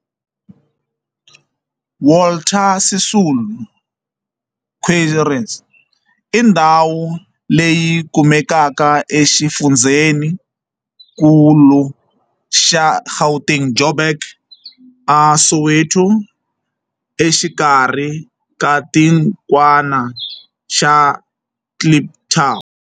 Walter Sisulu Square i ndhawu leyi kumekaka exifundzheni-nkulu xa Gauteng, Johannesburg, a Soweto, exikarhi ka xitikwana xa Kliptown.